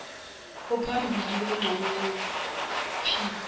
ophambili wengxenye yophiko